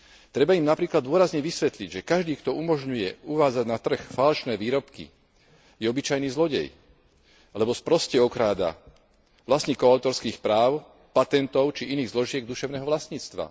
Treba im napríklad dôrazne vysvetliť, že každý, kto umožňuje uvádzať na trh falošné výrobky, je obyčajný zlodej, lebo sproste okráda vlastníkov autorských práv, patentov či iných zložiek duševného vlastníctva.